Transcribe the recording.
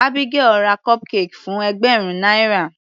Abigael ra cupcake fún ẹgbẹ̀rún náírà.